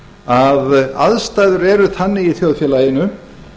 að aðstæður eru þannig í þjóðfélaginu